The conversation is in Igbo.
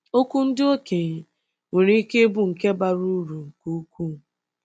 Okwu ndị okenye nwere ike ịbụ nke bara uru nke ukwuu.